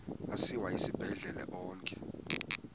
asiwa esibhedlele onke